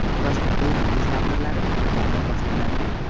Toshkentda Yangi yil tadbirlari qachondan boshlanadi?